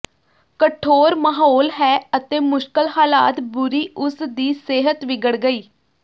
ਕਠੋਰ ਮਾਹੌਲ ਹੈ ਅਤੇ ਮੁਸ਼ਕਲ ਹਾਲਾਤ ਬੁਰੀ ਉਸ ਦੀ ਸਿਹਤ ਵਿਗੜ ਗਈ